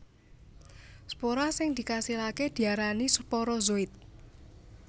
Spora sing dikasilaké diarani sporozoid